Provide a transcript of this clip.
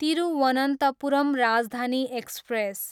Thiruvananthapuram Rajdhani express